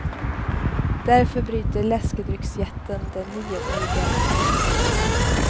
Därför bryter läskedrycksjätten det nioåriga förhållandet.